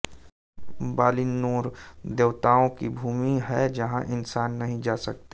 Valinor देवताओं की भूमि है जहाँ इंसान नहीं जा सकते